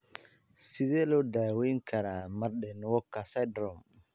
Sidee loo daweyn karaa Marden Walker syndrome?